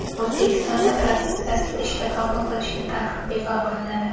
O‘zbekistonda propiskasiz ishga qabul qilishga taqiq bekor qilinadi.